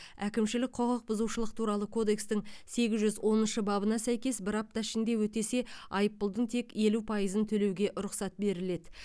әкімшілік құқықбұзушылық туралы кодекстің сегіз жүз оныншы бабына сәйкес бір апта ішінде өтесе айыппұлдың тек елу пайызын төлеуге рұқсат беріледі